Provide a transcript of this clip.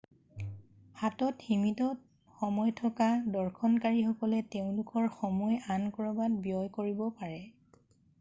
হাতত সীমিত সময় থকা দৰ্শনকাৰীসকলে তেওঁলোকৰ সময় আন ক'ৰবাত ব্যয় কৰিব পাৰে